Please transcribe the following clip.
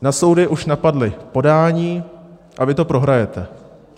Na soudy už napadla podání a vy to prohrajete.